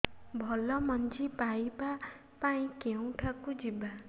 ଭଲ ମଞ୍ଜି ପାଇବା ପାଇଁ କେଉଁଠାକୁ ଯିବା